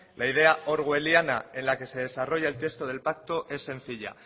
la idea orwelliana en la que se desarrolla el texto del pacto es sencilla